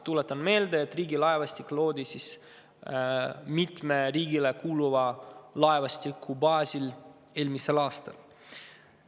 Tuletan meelde, et Riigilaevastik loodi mitme riigile kuuluva laevastiku baasil eelmisel aastal.